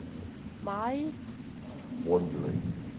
maj